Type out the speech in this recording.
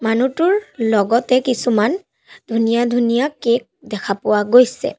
মানুহটোৰ লগতে কিছুমান ধুনীয়া ধুনীয়া কেক দেখা পোৱা গৈছে।